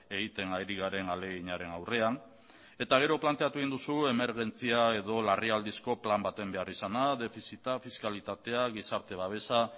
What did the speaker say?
egiten ari garen ahaleginaren aurrean eta gero planteatu egin duzu emergentzia edo larrialdizko plan baten behar izana defizita fiskalitatea gizarte babesa